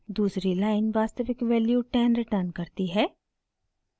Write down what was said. दूसरी लाइन वास्तविक value 10 return करती है